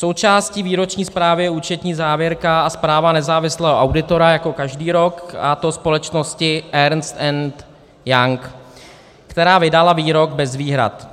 Součástí výroční zprávy je účetní závěrka a zpráva nezávislého auditora jako každý rok, a to společnosti Ernst & Young, která vydala výrok bez výhrad.